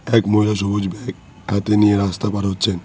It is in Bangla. এক মহিলা সবুজ ব্যাগ হাতে নিয়ে রাস্তা পার হচ্ছেন।